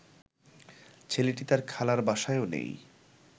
ছেলেটি তার খালার বাসায়ও নেই